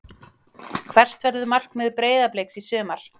Hvert verður markmið Breiðabliks í sumar?